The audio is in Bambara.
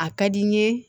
A ka di n ye